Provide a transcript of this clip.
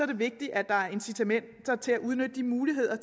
det vigtigt at der er incitamenter til at udnytte de muligheder